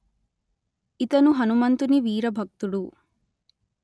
ఇతను హనుమంతుని వీర భక్తుడు